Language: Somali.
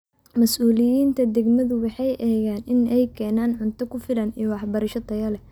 Masuuliyiinta degmadu waxay eegaan in ay keenan cunto ku filan iyo waxbarasho tayo leh.